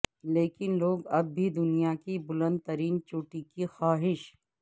لیکن لوگ اب بھی دنیا کی بلند ترین چوٹی کی خواہش